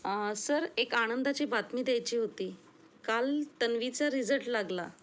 आह सर एक आनंदाची बातमी द्यायची होती, काल तन्वीचा रिझल्ट लागला.